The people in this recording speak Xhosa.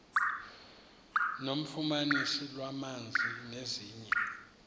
nofumaniso lwamanzi nezinye